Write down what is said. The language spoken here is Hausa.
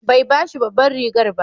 Bai ba shi babbar rigar ba.